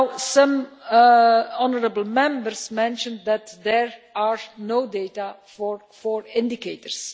Some honourable Members mentioned that there are no data for four indicators.